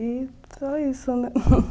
E foi isso, né?